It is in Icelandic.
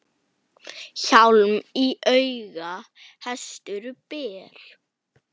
Hjálm í auga hestur ber.